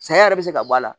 Saya yɛrɛ bɛ se ka bɔ a la